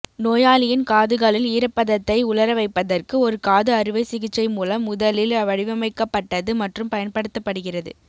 நோயாளியின் காதுகளில் ஈரப்பதத்தை உலர வைப்பதற்கு ஒரு காது அறுவை சிகிச்சை மூலம் முதலில் வடிவமைக்கப்பட்டது மற்றும் பயன்படுத்தப்படுகிறது